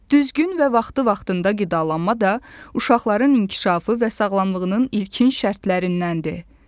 Düzgün və vaxtı-vaxtında qidalanma da uşaqların inkişafı və sağlamlığının ilkin şərtlərindəndir.